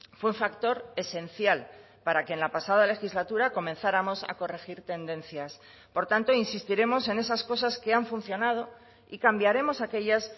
fue un factor esencial para que en la pasada legislatura comenzáramos a corregir tendencias por tanto insistiremos en esas cosas que han funcionado y cambiaremos aquellas